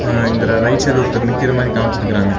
ஆ இந்தர right side ஒருத்தர் நிக்குற மாரி காமிச்சிருக்றாங்க.